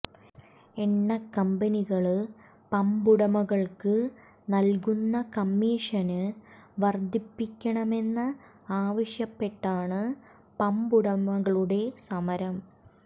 എണ്ണ കമ്പനികള് പമ്പുടമകള്ക്ക് നല്കുന്ന കമ്മീഷന് വര്ദ്ധിപ്പിക്കണമെന്ന് ആവശ്യപ്പെട്ടാണ് പമ്പുടമകളുടെ സമരം